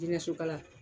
Dingɛ sokala